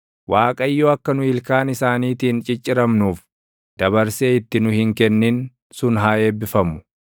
Waaqayyo akka nu ilkaan isaaniitiin cicciramnuuf dabarsee itti nu hin kennin sun haa eebbifamu.